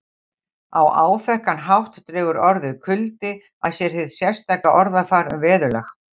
Á áþekkan hátt dregur orðið kuldi að sér sitt sérstaka orðafar um veðurlag